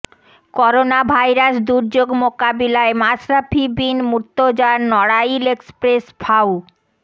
coronavirus দুর্যোগ মোকাবিলায় মাশরাফি বিন মুর্তজার নড়াইল এক্সপ্রেস ফাউ